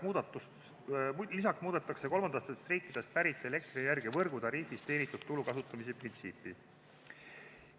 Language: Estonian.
Lisaks muudetakse kolmandatest riikidest pärit elektrienergia võrgutariifist teenitud tulu kasutamise printsiipi.